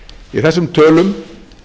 í þessum tölum